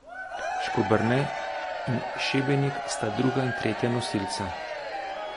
Škoberne in Šebenik sta druga in tretja nosilca.